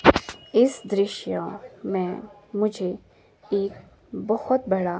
इस दृश्य में मुझे एक बहोत बड़ा--